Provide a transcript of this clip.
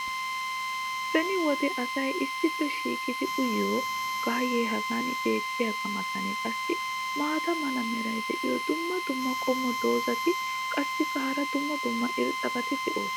beni wode asay issippe shiiqqidi uyyiyo gaayee hagan beetiyaagaa matan qassi maata mala meray diyo dumma dumma qommo dozzati qassikka hara dumma dumma irxxabati doosona.